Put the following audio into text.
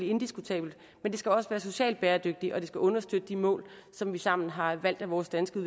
indiskutabelt men det skal også være socialt bæredygtigt og det skal understøtte de mål som vi sammen har valgt at vores danske